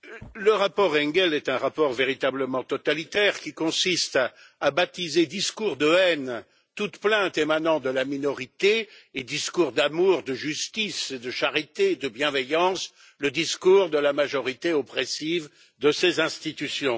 Madame la Présidente, le rapport Engel est un rapport véritablement totalitaire qui consiste à qualifier de discours de haine toute plainte émanant de la minorité et de discours d'amour, de justice, de charité, de bienveillance le discours de la majorité oppressive de ces institutions.